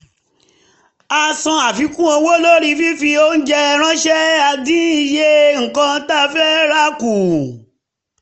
a san àfikún owó lórí fífi oúnjẹ ránṣẹ́ a dín iye nǹkan tá fẹ́ rà kù